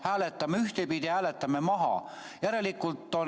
Hääletame ühtepidi, hääletame eelnõu maha!